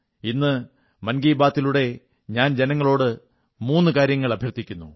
ഇന്ന് മൻ കീ ബാത്തി ലൂടെ ഞാൻ ജനങ്ങളോട് മൂന്നു കാര്യങ്ങൾ അഭ്യർഥിക്കുന്നു